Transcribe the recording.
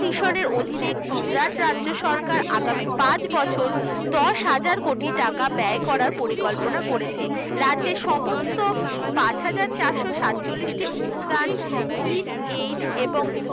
এই mission এর অধীনে গুজরাট রাজ্য সরকার আগামী পাঁচ বছর দশ হাজার কোটি টাকা ব্যয় করার পরিকল্পনা করেছে রাজ্যের সমস্ত পাঁচ হাজার চারশ সাতচল্লিশটি অনুদান এবং